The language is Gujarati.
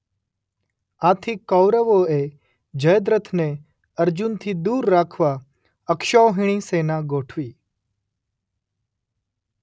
આથી કૌરવો એ જયદ્રથને અર્જુનથી દૂર રાખવા અક્ષૌહિણી સેના ગોઠવી.